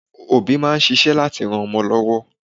Òbí máa ṣíṣẹ́ láti ran ọmọ lọ́wọ́